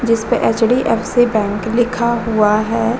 जिसपे HDFC. Bank लिखा हुआ है |